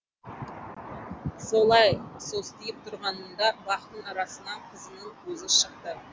солай состиып тұрғанында бақтың арасынан қызының өзі шықты